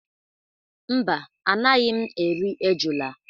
Mba, anaghị m eri ejula.